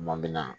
Kuma min na